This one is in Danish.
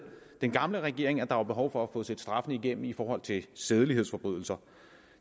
gamle regering at der var behov for at få set straffene igennem i forhold til sædelighedsforbrydelser